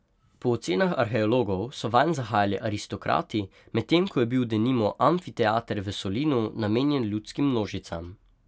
Po ocenah arheologov so vanj zahajali aristokrati, medtem ko je bil denimo amfiteater v Solinu namenjen ljudskim množicam.